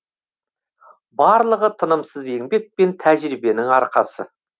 барлығы тынымсыз еңбек пен тәжірибенің арқасы